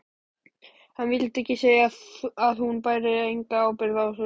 Hann vildi segja að hún bæri enga ábyrgð á þessu.